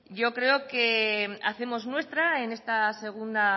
yo creo que hacemos nuestra